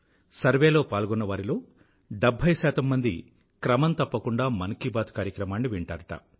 సర్వేలో పాల్గొన్నవారిలో 70 మంది క్రమం తప్పకుండా మన్ కీ బాత్ కార్యక్రమాన్ని వింటారుట